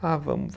Ah, vamos